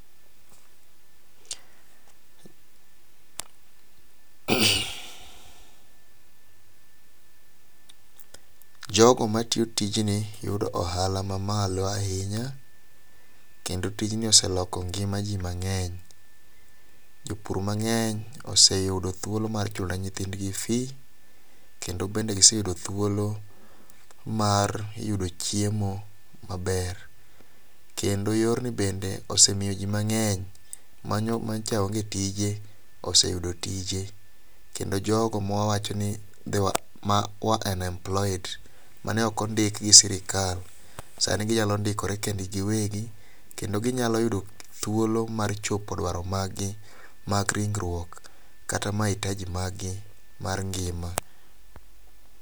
Jogo matiyo tijni yudo ohala mamalo ahinya kendo tijni oseloko ngima ji mang'eny. Jopur mang'eny oseyudo thuolo mar chulo ne nyithindgi fis, kendo giseyudo thuolo mar yudo chiemo maber. Kendo yorni bende osemiyo ji mang'eny mago manyocha onge tije oseyudo tije, jo ma wawacho ni [cs6 unemployed mane ok ondiki gi sirkal, ka ginyalo ndikore kendgi giwegi kendo ginyalo yudo thuolo mar chopo dwarogi mag ringruok, kata maitaji mag gi mar ngima.